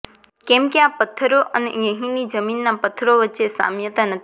કેમ કે આ પથ્થરો અને અહીંની જમીનના પથ્થરો વચ્ચે સામ્યતા નથી